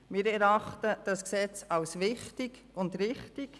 Wir erachten das Gesetz als wichtig und richtig.